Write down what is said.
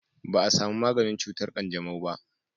ba a samu maganin cutar kanjamau ba